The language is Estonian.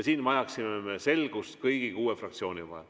Me vajaksime selgust kõigi kuue fraktsiooni vahel.